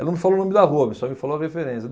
Ela não falou o nome da rua, só me falou a referência.